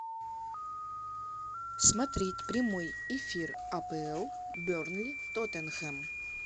смотреть прямой эфир апл бернли тоттенхэм